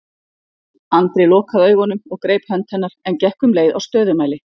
Andri lokaði augunum og greip hönd hennar en gekk um leið á stöðumæli.